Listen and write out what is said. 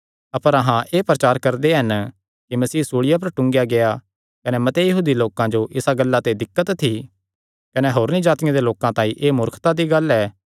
अपर अहां एह़ प्रचार करदे हन कि मसीह सूल़िया पर टूंगेया गेआ कने मते यहूदी लोकां जो इसा गल्ला ते दिक्कत थी कने होरनी जातिआं दे लोकां तांई एह़ मूर्खता दी गल्ल ऐ